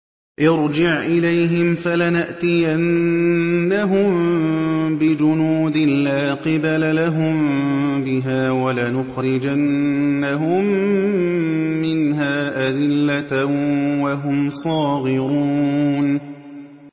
ارْجِعْ إِلَيْهِمْ فَلَنَأْتِيَنَّهُم بِجُنُودٍ لَّا قِبَلَ لَهُم بِهَا وَلَنُخْرِجَنَّهُم مِّنْهَا أَذِلَّةً وَهُمْ صَاغِرُونَ